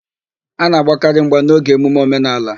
A na-agbakarị mgba n'oge emume omenaala.